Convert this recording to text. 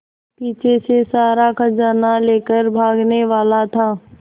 पीछे से सारा खजाना लेकर भागने वाला था